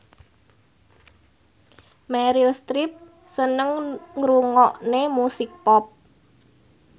Meryl Streep seneng ngrungokne musik pop